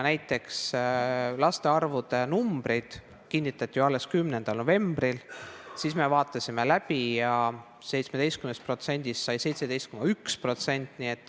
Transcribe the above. Näiteks laste arvud kinnitati ju alles 10. novembril, siis me vaatasime need läbi ja 17%-st sai 17,1%.